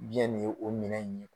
Biyɛn nin ye o minɛn in ye.